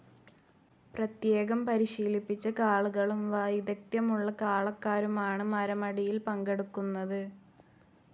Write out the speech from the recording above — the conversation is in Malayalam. പ്രത്യേകം പരിശീലിപ്പിച്ച കാളകളും വൈദഗ്ദ്ധ്യമുള്ള കാളക്കാരുമാണ് മരമടിയിൽ പങ്കെടുക്കുന്നത്.